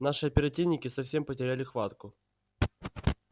наши оперативники совсем потеряли хватку